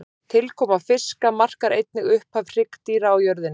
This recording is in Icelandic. Tilkoma fiska markar einnig upphaf hryggdýra á jörðinni.